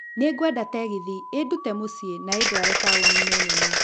Nĩ ngwenda tegithi ĩndute mũciĩ na ĩndware taũni-inĩ nene